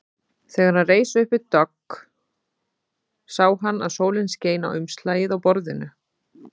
Þegar hann reis upp við dogg sá hann að sólin skein á umslagið á borðinu.